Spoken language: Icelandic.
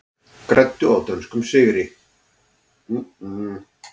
Græddu á dönskum sigri